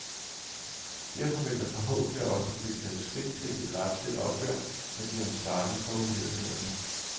Derfor vil der forhåbentlig også blive taget skridt til et retsligt opgør med de ansvarlige for uhyrlighederne.